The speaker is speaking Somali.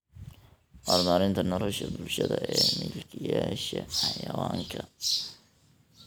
Horumarinta Nolosha Bulshada ee Milkiilayaasha Xayawaanka.